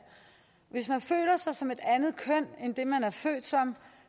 hvis man føler sig som et andet køn end det man er født